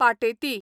Pateti